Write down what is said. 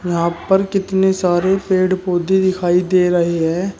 यहां पर कितने सारे पेड़ पौधे दिखाई दे रहे हैं।